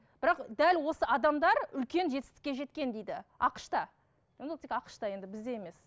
бірақ дәл осы ададар үлкен жетістікке жеткен дейді ақш та енді ол тек ақш та енді бізде емес